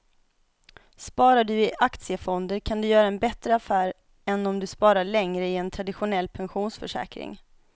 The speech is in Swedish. Sparar du i aktiefonder kan du göra en bättre affär än om du sparar länge i en traditionell pensionsförsäkring.